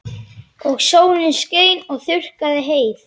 Og sólin skein og þurrkaði heyið.